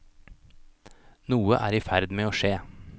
Noe er i ferd med å skje.